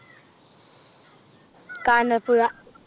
Kanjirappuzha.